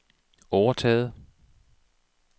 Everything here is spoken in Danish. overtaget